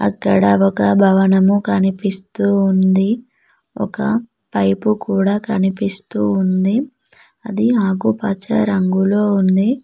ఇక్కడ ఒక భవనము కనిపిస్తూ ఉంది ఒక పైపు కూడా కనిపిస్తూ ఉంది అది ఆకుపచ్చ రంగులో ఉంది.